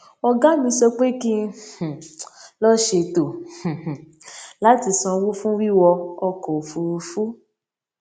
ògá mi sọ pé kí um n lọ ṣètò um láti sanwó fún wíwọ ọkò òfuurufú